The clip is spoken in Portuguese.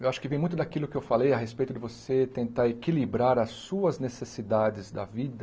Eu acho que vem muito daquilo que eu falei a respeito de você tentar equilibrar as suas necessidades da vida,